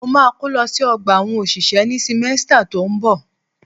Mo ma kó lọ sí ọgbà àwọn òṣìṣẹ́ ní símẹ́stà tó ń bọ̀.